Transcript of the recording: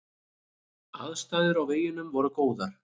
Aðstæður á veginum voru góðar.